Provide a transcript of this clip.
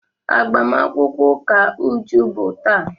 Agbamakwụkwọ ụka Uju bụ taa.